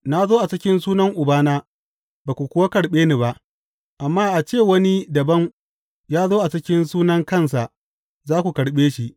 Na zo a cikin sunan Ubana, ba ku kuwa karɓe ni ba; amma a ce wani dabam ya zo a cikin sunan kansa, za ku karɓe shi.